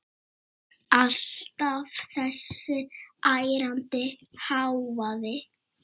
Alltaf þessi ærandi hávaði.